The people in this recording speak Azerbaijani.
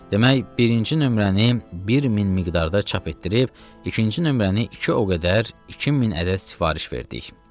Demək, birinci nömrəni 1000 miqdarda çap etdirib, ikinci nömrəni iki o qədər, 2000 ədəd sifariş verdik.